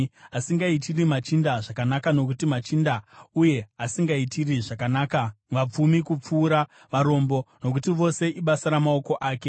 asingaitiri machinda zvakanaka nokuti machinda, uye asingaitiri zvakanaka vapfumi kupfuura varombo, nokuti vose ibasa ramaoko ake?